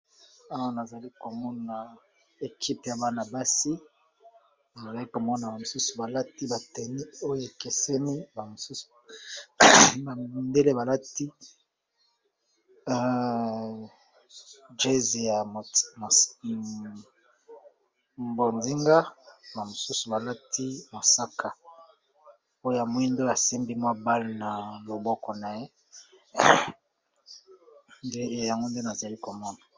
Awa nazali komona équipe ya banabasi nazalali komona mosusu balati ba tenue oyo ekeseni ba midèle balati jez ya bozinga ,ba mosusu balati mosaka, oyo mwindo asembi mwa bale na loboko na ye , nde yango nde nazali komona.